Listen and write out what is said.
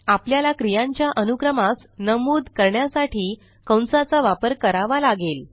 आपल्याला क्रियांच्या अनुक्रमास नमूद करण्यासाठी कंसाचा वापर कारवा लागेल